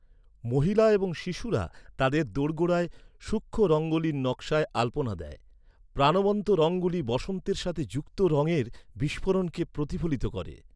মহিলা এবং শিশুরা তাদের দোরগোড়ায় সূক্ষ্ম রঙ্গোলির নকশায় আলপনা দেয়, প্রাণবন্ত রঙগুলি বসন্তের সাথে যুক্ত রঙের বিস্ফোরণকে প্রতিফলিত করে।